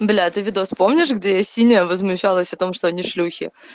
бля ты видос помнишь где я синяя возмущалась о том что они шлюхи